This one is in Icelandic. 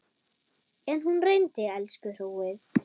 En hún reyndi, elsku hróið.